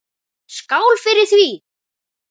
Skál fyrir því!